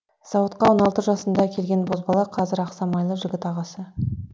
зауытқа он алты жасында келген бозбала қазір ақ самайлы жігіт ағасы